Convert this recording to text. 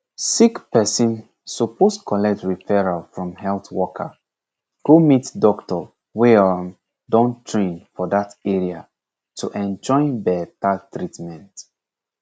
sick person suppose collect referral from health worker go meet doctor wey um don train for that area to enjoy better treatment